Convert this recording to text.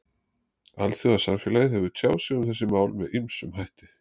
Alþjóðasamfélagið hefur tjáð sig um þessi mál með ýmsum hætti.